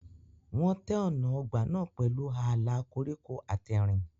Wọ́n tẹ́ ọ̀nà ọgbà náà pẹ̀lú ààlà koríko àtẹ̀rìn.